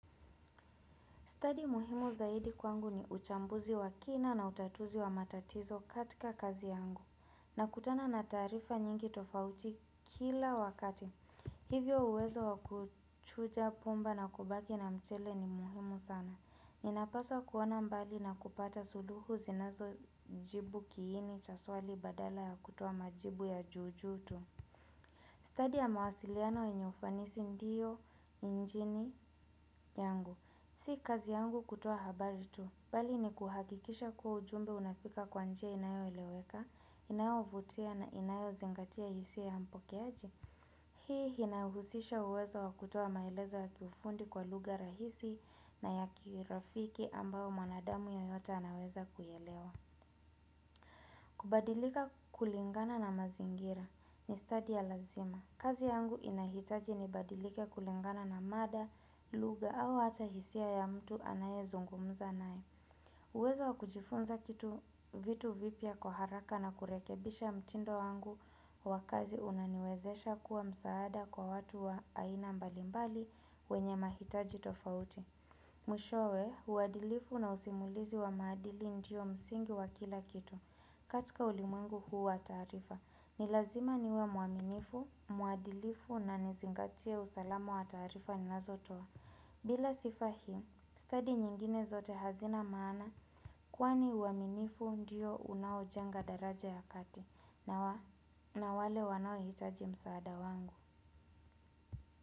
Stadi muhimu zaidi kwangu ni uchambuzi wa kina na utatuzi wa matatizo katika kazi yangu nakutana na taarifa nyingi tofauti kila wakati. Hivyo uwezo wa kuchuja pumba na kubaki na mchele ni muhimu sana. Ninapaswa kuona mbali na kupata suluhu zinazojibu kiini cha swali badala ya kutoa majibu ya juu juu tu. Study ya mawasiliano yenye ufanisi ndiyo injini yangu. Si kazi yangu kutoa habari tu. Bali ni kuhakikisha kuwa ujumbe unafika kwa njia inayoeleweka, inayo vutia na inayo zingatia hisia mpokeaji. Hii inahusisha uwezo wa kutia maelezo ya kiufundi kwa lugha rahisi na yakirafiki ambao mwanadamu yoyote anaweza kuielewa. Kubadilika kulingana na mazingira ni stadi ya lazma. Kazi yangu inahitaji nibadilike kulengana na mada, lugha au hata hisia ya mtu anayezungumza nae. Uwezo wa kujifunza kitu vitu vipya kwa haraka na kurekebisha mtindo wangu wa kazi unaniwezesha kuwa msaada kwa watu wa aina mbalimbali wenye mahitaji tofauti. Mwishowe, uadilifu na usimulizi wa maadili ndio msingi wa kila kitu. Katika ulimwengu huu wa taarifa, ni lazima niwe muaminifu, muadilifu na nizingatie usalama wa taarifa ninazotoa. Bila sifa hii, study nyingine zote hazina maana kuwani uaminifu ndiyo unaojenga daraja ya kati na wale wanaohitaji msaada wangu.